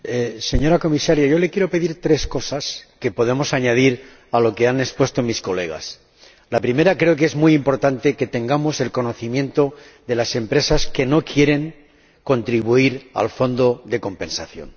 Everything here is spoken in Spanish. Señora Presidenta señora Comisaria, yo le quiero pedir tres cosas que podemos añadir a lo que han expuesto mis colegas. La primera creo que es muy importante que conozcamos las empresas que no quieren contribuir al Fondo de Compensación.